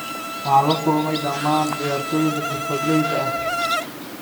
“Waxaan la kulmay dhammaan ciyaartoyda xirfadleyda ah.